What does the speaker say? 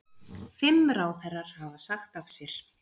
Fimm ráðherrar hafa sagt af sér